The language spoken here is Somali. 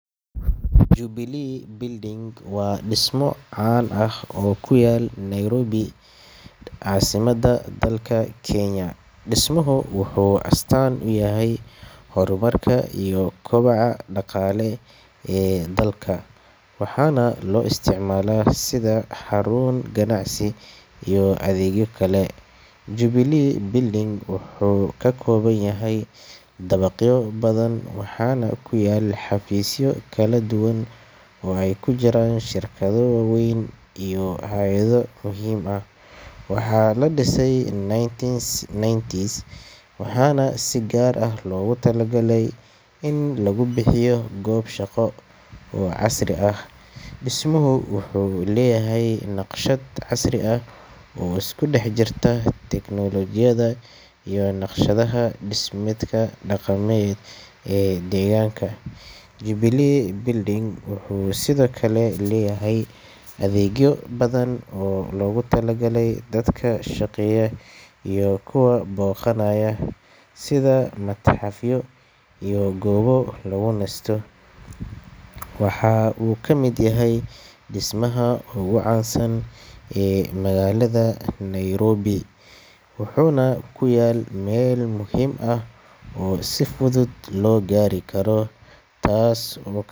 Jubilee Building waa dhismo caan ah oo ku yaal Nairobi, caasimadda dalka Kenya. Dhismuhu wuxuu astaan u yahay horumarka iyo kobaca dhaqaale ee dalka, waxaana loo isticmaalaa sida xarun ganacsi iyo adeegyo kale. Jubilee Building wuxuu ka kooban yahay dabaqyo badan, waxaana ku yaal xafiisyo kala duwan oo ay ku jiraan shirkado waaweyn iyo hay’ado muhiim ah. Waxaa la dhisay 1990s, waxaana si gaar ah loogu talagalay in lagu bixiyo goob shaqo oo casri ah. Dhismuhu wuxuu leeyahay naqshad casri ah oo isku dhex jirta teknoolojiyadda iyo naqshadaha dhismeedka dhaqameed ee deegaanka. Jubilee Building wuxuu sidoo kale leeyahay adeegyo badan oo loogu talagalay dadka shaqeeya iyo kuwa booqanaya, sida matxafyo iyo goobo lagu nasto. Waxa uu ka mid yahay dhismayaasha ugu caansan ee magaalada Nairobi, wuxuuna ku yaal meel muhiim ah oo si fudud loo gaari karo, taas oo.